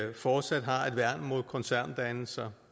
vi fortsat har et værn mod koncerndannelser